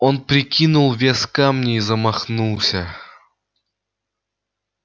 он прикинул вес камня и замахнулся